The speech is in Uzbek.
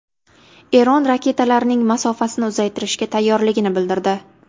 Eron raketalarining masofasini uzaytirishga tayyorligini bildirdi.